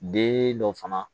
Den dɔ fana